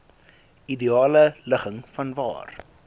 ideale ligging vanwaar